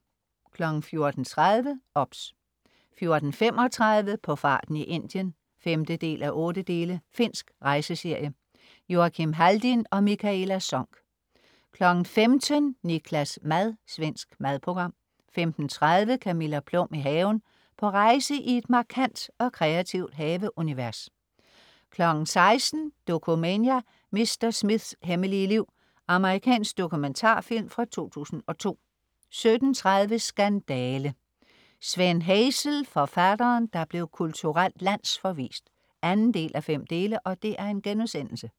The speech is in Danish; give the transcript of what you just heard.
14.30 OBS* 14.35 På farten i Indien 5:8. Finsk rejseserie. Joakim Haldin og Mikaela Sonck 15.00 Niklas' mad. Svensk madprogram 15.30 Camilla Plum i haven. På rejse i et markant og kreativt haveunivers 16.00 Dokumania: Mr. Smiths hemmelige liv. Amerikansk dokumentarfilm fra 2002 17.30 Skandale! Sven Hazel, forfatteren der blev kulturelt landsforvist 2:5*